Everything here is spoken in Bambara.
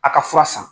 A ka fura san